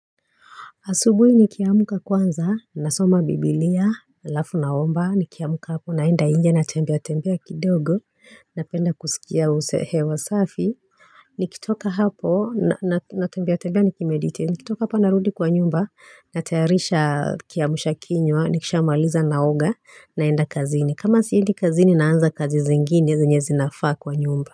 Asubuhi ni kiamuka kwanza, nasoma biblia, halafu na omba, ni kiamuka hapo, naenda inje na tembea tembea kidogo, napenda kusikia usehe wa safi. Nikitoka hapo, na tembea tembea nikimeditate, nikitoka hapa narudi kwa nyumba, natayarisha kiamsha kinywa, nikisha maliza naoga, naenda kazini. Kama siendi kazini, naanza kazi zi ngine, zenye zinafaa kwa nyumba.